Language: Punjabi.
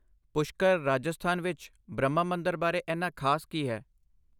ਪੁਸ਼ਕਰ, ਰਾਜਸਥਾਨ ਵਿੱਚ ਬ੍ਰਹਮਾ ਮੰਦਰ ਬਾਰੇ ਇੰਨਾ ਖਾਸ ਕੀ ਹੈ?